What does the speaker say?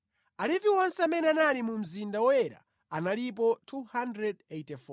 Alevi onse amene anali mu mzinda woyera analipo 284.